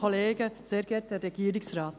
Danke für die Aufmerksamkeit.